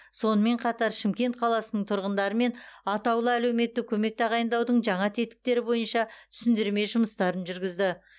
сонымен қатар шымкент қаласының тұрғындарымен атаулы әлеуметтік көмек тағайындаудың жаңа тетіктері бойынша түсіндірме жұмыстарын жүргізді